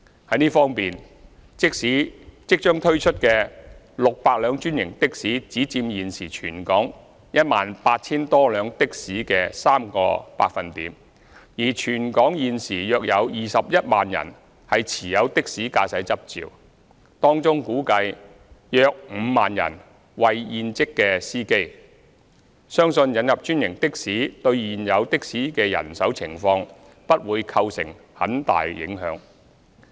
在這方面，即將推出的600輛專營的士只佔現時全港 18,000 多輛的士的約 3%， 而全港現時有約21萬人持有的士駕駛執照，當中估計約5萬人為現職司機，相信引入專營的士對現有的士的人手情況不會構成很大影響。